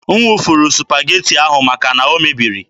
M wụfuru Supageti ahụ maka na o mebiri.